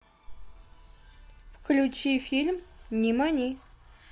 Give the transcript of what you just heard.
включи фильм нимани